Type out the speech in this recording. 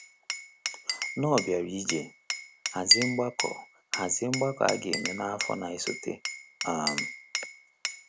Knorr bịara iji hazie mgbakọ hazie mgbakọ a ga-eme n’afọ na-esote. um